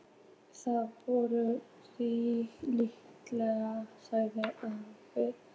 Það var honum líkt, sagði afi.